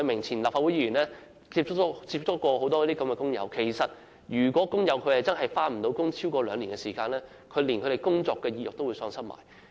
前立法會議員葉偉明接觸過很多這類工友，發現如果他們無法工作超過兩年，便連工作意欲也會喪失。